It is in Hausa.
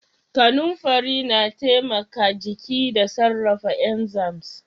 Kanumfari na taimaka jiki da sarrafa inzams.